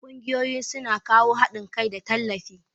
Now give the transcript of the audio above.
Kungiyoyi su na kawo haɗin kai da tallafi.